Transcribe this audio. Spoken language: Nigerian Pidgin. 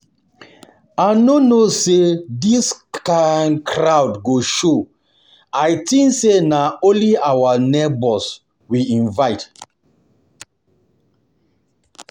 I no know say dis kin crowd go show, I think say na only our neighbours we invite